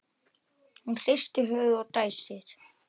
Hún hristir höfuðið og dæsir.